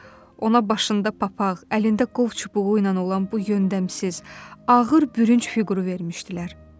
Ona başında papaq, əlində qov çubuğu ilə olan bu yöndəmsiz, ağır bürünc fiquru vermişdilər.